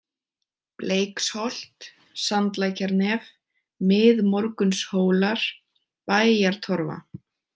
Bleiksholt, Sandlækjarnef, Miðmorgunshólar, Bæjartorfa